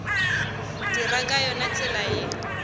dira ka yona tsela ye